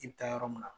I bɛ taa yɔrɔ min na